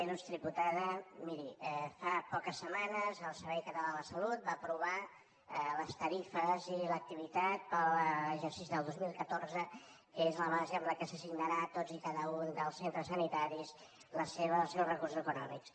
il·lustre diputada miri fa poques setmanes el servei català de la salut va aprovar les tarifes i l’activitat per a l’exercici del dos mil catorze que és la base amb què s’assignaran a tots i cada un dels centres sanitaris els seus recursos econòmics